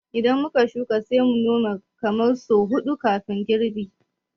Idan muka shuka, sai mu Nome kamar sau huɗu kafin girbi